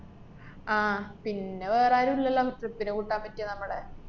ആഹ് പിന്നെ വേറാരും ഇല്ലല്ലാ മ്മക്ക് ഇഷ്ടത്തിന് കൂട്ടാന്‍ പറ്റിയ നമ്മടെ.